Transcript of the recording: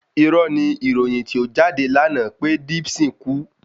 Irọ́ni ni ìròyìn tí ó jáde lánàá pé Dipsyn kú